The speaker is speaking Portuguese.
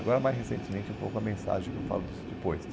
Agora, mais recentemente, é um pouco a mensagem que eu falo disso depois.